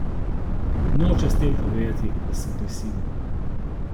Nočem s tem povedati, da sem prisiljen.